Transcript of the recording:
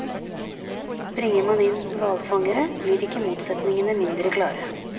Bringer man inn hvalfangere, blir ikke motsetningene mindre klare.